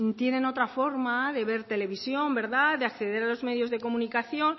tienen otra forma de ver televisión de acceder a los medios de comunicación